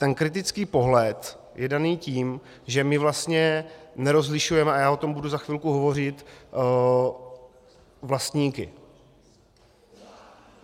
Ten kritický pohled je daný tím, že my vlastně nerozlišujeme - a já o tom budu za chvilku hovořit - vlastníky.